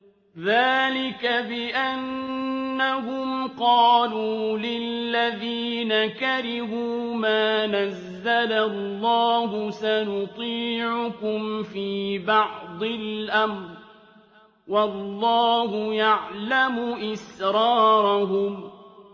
ذَٰلِكَ بِأَنَّهُمْ قَالُوا لِلَّذِينَ كَرِهُوا مَا نَزَّلَ اللَّهُ سَنُطِيعُكُمْ فِي بَعْضِ الْأَمْرِ ۖ وَاللَّهُ يَعْلَمُ إِسْرَارَهُمْ